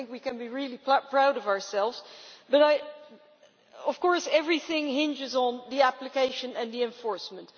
I think we can be really proud of ourselves, but of course everything hinges on the application and the enforcement.